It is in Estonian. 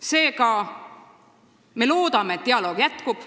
Seega, me loodame, et dialoog jätkub.